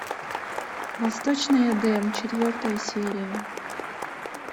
восточный эдем четвертая серия